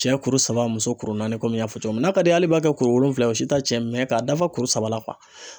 Cɛ kuru saba, muso kuru naani kɔmi n y'a fɔ cogo min na, n'a ka di i ye, hali i b'a kɛ wolonwula o si t'a cɛn k'a dafa kuru saba la .